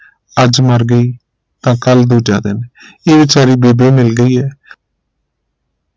ਅੱਜ ਮਰ ਗਈ ਤਾਂ ਕਲ ਦੂਜਾ ਦਿਨ ਇਹ ਵਿਚਾਰੀ ਬੇਬੇ ਮਿਲ ਗਈ ਆ